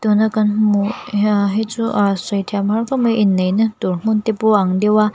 tun a kan hmuh hia hi chu aaa sawi thiam a har khawp mai inneihna tur hmun te pawh te pawh ang deuh a.